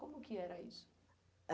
Como que era isso?